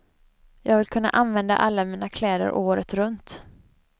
Jag vill kunna använda alla mina kläder året runt.